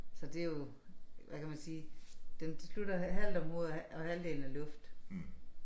Så det jo hvad kan man sige den de slutter halvt om hovedet og og halvdelen er luft